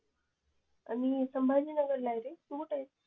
मी संभाजी नगरलाय रे तू कुठेस